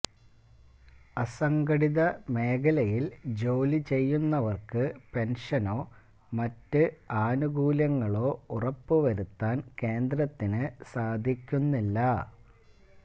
അസംഘടിത മേഖലയില് ജോലിചെയ്യുന്നവര്ക്ക് പെന്ഷനോ മറ്റ് ആനുകൂല്യങ്ങളോ ഉറപ്പുവരുത്താന് കേന്ദ്രത്തിന് സാധിക്കുന്നില്ല